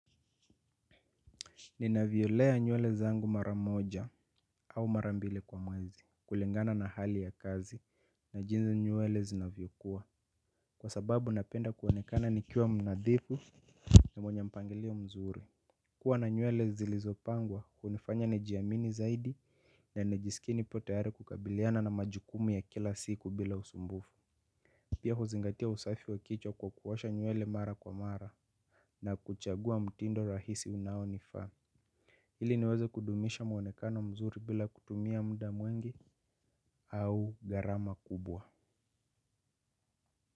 Ninavyolea nywele zangu mara moja au mara mbili kwa mwezi kulingana na hali ya kazi na jinsi nywele zinavyokuwa. Kwa sababu napenda kuonekana nikiwa mnadhifu na mwenye mpangilio mzuri. Kuwa na nywele zilizopangwa hunifanya nijiamini zaidi na nijisikie nipo tayari kukabiliana na majukumu ya kila siku bila usumbufu. Pia huzingatia usafi wa kichwa kwa kuosha nywele mara kwa mara. Na kuchagua mtindo rahisi unaonifaa ili niweze kudumisha mwonekano mzuri bila kutumia muda mwingi au gharama kubwa.